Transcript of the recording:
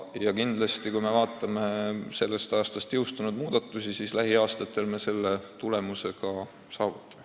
Ja kui me vaatame sellest aastast jõustunud muudatusi, siis võib loota, et lähiaastatel me selle tulemuse ka saavutame.